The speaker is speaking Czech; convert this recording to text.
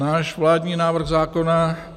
Náš vládní návrh zákona.